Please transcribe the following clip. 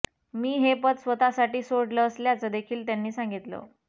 मी हे पद स्वतःसाठी सोडलं असल्याचं देखील त्यांनी सांगितलं